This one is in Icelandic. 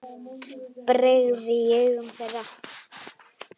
brigði í augum þeirra.